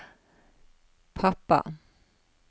pappa